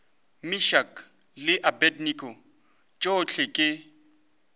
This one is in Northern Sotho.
meshack le abednego tšohle ke